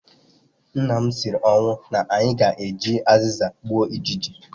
Nna m siri ọnwụ na anyị ga-eji azịza gbuo ijiji